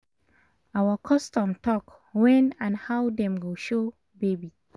our custom talk wen and how dem go show baby